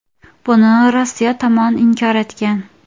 Buni Rossiya tomoni inkor etgan.